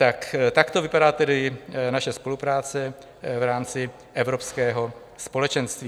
Tak takto vypadá tedy naše spolupráce v rámci Evropského společenství.